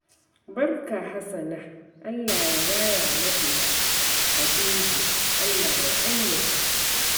Barka, Hassana. Allah ya raya mana Habibu, Allah ya ɗayyaba.